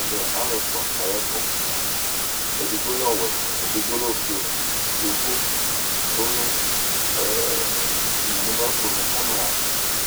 Ɛvɛ alu ɛfua kayɛ ɛku edigbo lɛ ɔwɛ edigbo lɛ ɔfue yovo ku mu mabafon mu kamera